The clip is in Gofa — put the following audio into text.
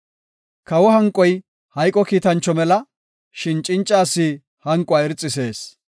Kawa hanqoy hayqo kiitancho mela; shin cinca asi hanquwa irxisees.